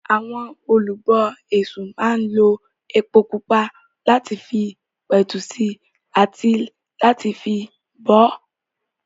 Àwọn Olú ọ Èṣù máa ń lo epo pupa láti fi pẹ̀tù sí i àti láti fi bọ ọ́.